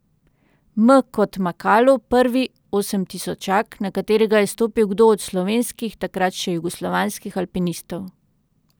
M kot Makalu, prvi osemtisočak, na katerega je stopil kdo od slovenskih, takrat še jugoslovanskih alpinistov.